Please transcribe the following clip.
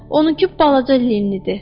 Onun ki, balaca Linnidir.